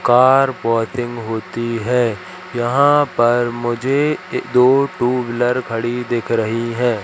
Car washing होती हैं यहां पर मुझे दो टू व्हीलर खड़ी दिख रही हैं।